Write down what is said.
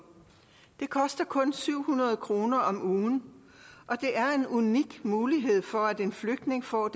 det koster kun syv hundrede kroner om ugen og det er en unik mulighed for en flygtning for at